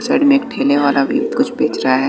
Side में एक ठेले वाला भी कुछ बेच रहा है।